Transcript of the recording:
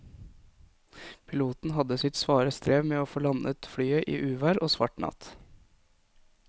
Piloten hadde sitt svare strev med å få landet flyet i uvær og svart natt.